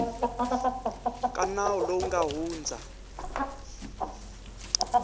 ka nawu lowu nga hundza